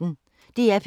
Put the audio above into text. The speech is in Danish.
DR P1